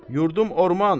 Yurdum orman.